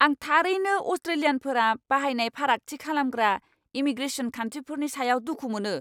आं थारैनो अस्ट्रेलियानफोरा बाहायनाय फारागथि खालामग्रा इमीग्रेसन खान्थिफोरनि सायाव दुखु मोनो।